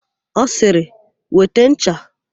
Ọ sịrị, "weta ncha"!